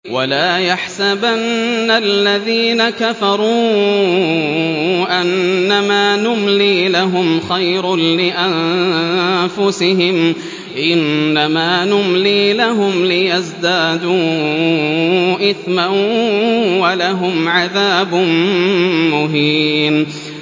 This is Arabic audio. وَلَا يَحْسَبَنَّ الَّذِينَ كَفَرُوا أَنَّمَا نُمْلِي لَهُمْ خَيْرٌ لِّأَنفُسِهِمْ ۚ إِنَّمَا نُمْلِي لَهُمْ لِيَزْدَادُوا إِثْمًا ۚ وَلَهُمْ عَذَابٌ مُّهِينٌ